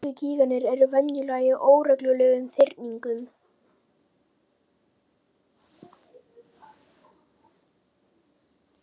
Gervigígarnir eru venjulega í óreglulegum þyrpingum.